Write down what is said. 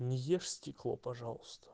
не ешь стекло пожалуйста